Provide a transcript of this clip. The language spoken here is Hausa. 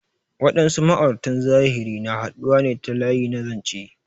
Waɗansu ma'auratan zahiri na haɗuwa ne ta layi na zanche.